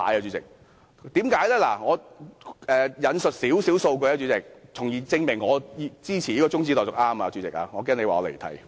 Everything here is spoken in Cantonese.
主席，我會稍為引述一些數據，從而證明我支持中止待續議案是正確的，我怕你說我離題。